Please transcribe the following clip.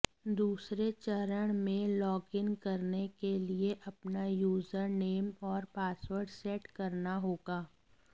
दूसरे चरण में लॉगिन करने के लिए अपना यूजर नेम और पासवर्ड सेट करना होगा